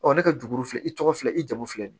ne ka dugu filɛ i tɔgɔ filɛ i jamu filɛ nin ye